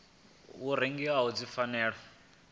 wa tou rengiwa dzi fanela